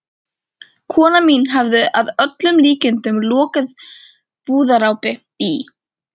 Kona mín hafði að öllum líkindum lokið búðarápi í